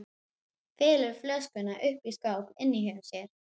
Felur flöskuna uppi í skáp inni hjá sér.